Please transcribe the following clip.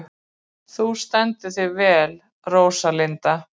Þú stendur þig vel, Róslinda!